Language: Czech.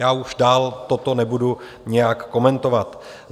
Já už dál toto nebudu nijak komentovat.